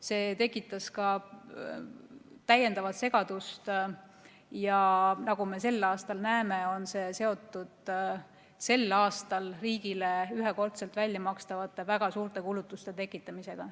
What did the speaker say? See tekitas täiendavat segadust ja nagu me sel aastal näeme, on see seotud riigile väga suurte ühekordselt väljamakstavate kulutuste tekitamisega.